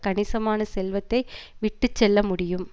கணிசமான செல்வத்தை விட்டு செல்ல முடியும்